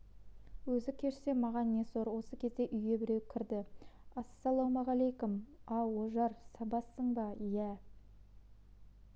өзі кешсе маған не сор осы кезде үйге біреу кірді ассалаумағалейкүм ау ожар сабазсың ба иә